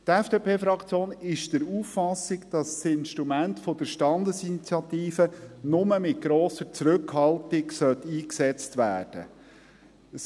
Die FDP-Fraktion ist der Auffassung, dass das Instrument der Standesinitiative nur mit grosser Zurückhaltung eingesetzt werden soll.